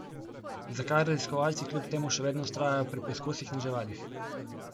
Zakaj raziskovalci kljub temu še vedno vztrajajo pri poizkusih na živalih?